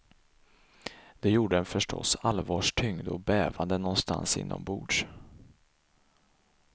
Det gjorde en förståss allvarstyngd och bävande någonstans inombords.